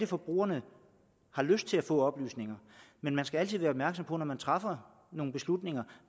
forbrugerne har lyst til at få af oplysninger men man skal altid være opmærksom på når man træffer nogle beslutninger